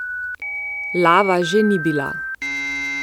Lava že ni bila.